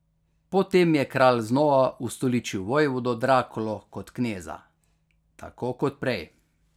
Po tem je kralj znova ustoličil vojvodo Drakulo kot kneza, tako kot prej.